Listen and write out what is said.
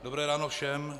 Dobré ráno všem.